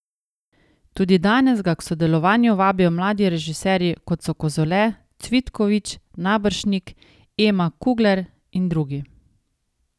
Tudi danes ga k sodelovanju vabijo mladi režiserji, kot so Kozole, Cvitkovič, Naberšnik, Ema Kugler in drugi.